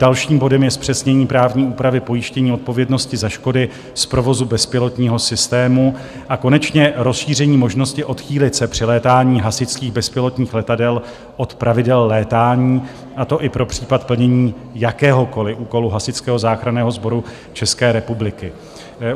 Dalším bodem je zpřesnění právní úpravy pojištění odpovědnosti za škody z provozu bezpilotního systému a konečně rozšíření možnosti odchýlit se při létání hasičských bezpilotních letadel od pravidel létání, a to i pro případ plnění jakéhokoli úkolu Hasičského záchranného sboru České republiky.